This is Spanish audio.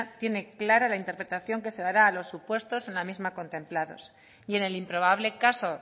tiene clara la interpretación que se dará a los supuestas en la misma contemplados y en el improbable caso